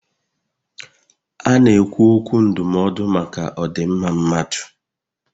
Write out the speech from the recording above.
A na-ekwu okwu ndụmọdụ maka odinmma mmadụ